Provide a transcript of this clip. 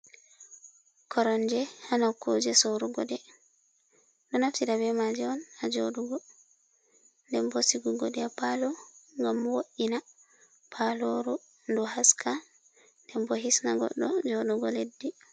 Koromje ha nokuje sorugoɗe, ɗo naftira be maje on ha jodugo den bo sigugo ɗe ha palo gam woddina paloru du haska den bo hisna goɗɗo joɗugo leddi.